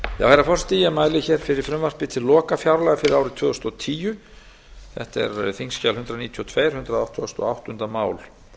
herra forseti ég mæli fyrir frumvarpi til lokafjárlaga fyrir árið tvö þúsund og tíu þetta er þingskjal hundrað níutíu og tvö hundrað áttugustu og áttunda mál